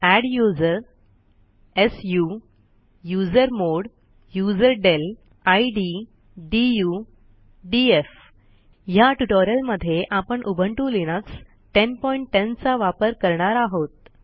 adduser su usermod userdel id du df ह्या ट्युटोरियलमध्ये आपण उबुंटू लिनक्स 1010चा वापर करणार आहोत